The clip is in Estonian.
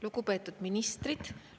Lugupeetud ministrid!